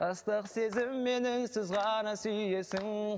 ыстық сезіммен үнсіз ғана сүйесің